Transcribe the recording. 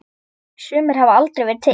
Sumir hafa aldrei verið til.